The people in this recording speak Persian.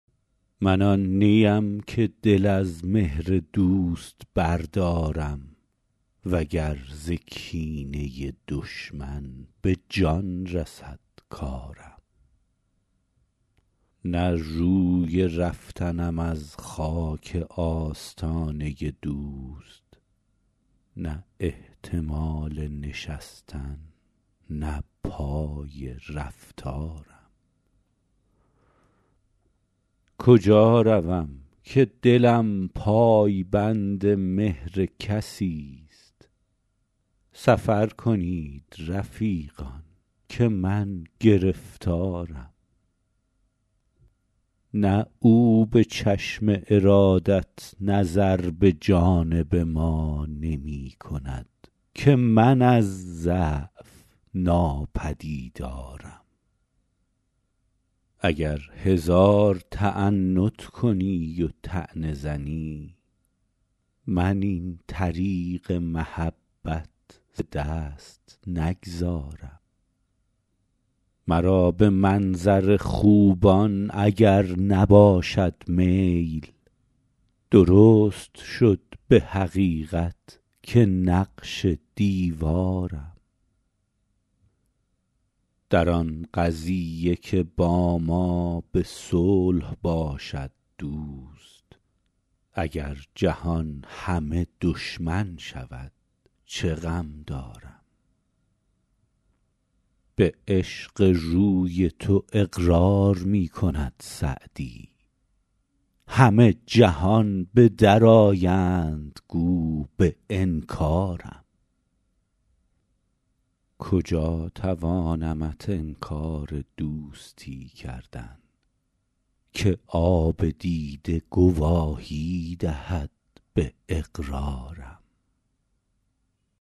من آن نی ام که دل از مهر دوست بردارم و گر ز کینه دشمن به جان رسد کارم نه روی رفتنم از خاک آستانه دوست نه احتمال نشستن نه پای رفتارم کجا روم که دلم پای بند مهر کسی ست سفر کنید رفیقان که من گرفتارم نه او به چشم ارادت نظر به جانب ما نمی کند که من از ضعف ناپدیدارم اگر هزار تعنت کنی و طعنه زنی من این طریق محبت ز دست نگذارم مرا به منظر خوبان اگر نباشد میل درست شد به حقیقت که نقش دیوارم در آن قضیه که با ما به صلح باشد دوست اگر جهان همه دشمن شود چه غم دارم به عشق روی تو اقرار می کند سعدی همه جهان به در آیند گو به انکارم کجا توانمت انکار دوستی کردن که آب دیده گواهی دهد به اقرارم